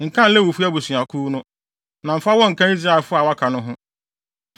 “Nkan Lewifo abusuakuw no, na mfa wɔn nka Israelfo a wɔaka no ho.